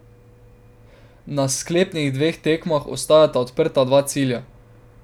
Na sklepnih dveh tekmah ostajata odprta dva cilja.